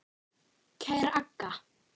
Kæra Agga.